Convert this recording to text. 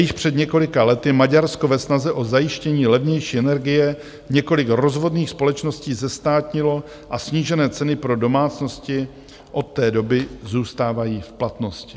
Již před několika lety Maďarsko ve snaze o zajištění levnější energie několik rozvodných společností zestátnilo a snížené ceny pro domácnosti od té doby zůstávají v platnosti.